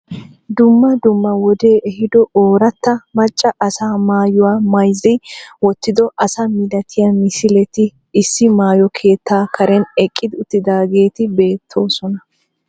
Dummaa dummaa wode ehido oorataa maaca asa mayuwaa mayzi wotido asa millatiya misileti issi mayoo keettaa kaaren eeqi uttidaged beettosona